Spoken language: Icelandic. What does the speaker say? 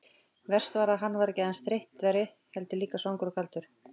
Verst var að hann var ekki aðeins þreyttur, heldur líka svangur og kaldur.